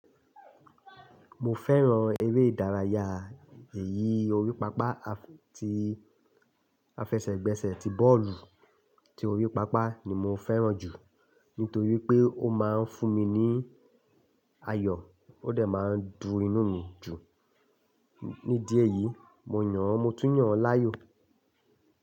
Mo fẹ́ràn eré ìdárayá ẹ̀yí orí pápá. À ti, afẹsẹ̀gbẹsẹ̀ tí bọ́ọ̀lù tí orí pápá ni mo fẹ́ràn jù nítorí pé ó máa ń fún mi ní ayọ̀, ó dẹ̀ máa ń mu inu mi dùn. Ní díè eyìí mo yàn, mo tún yàn láàyò.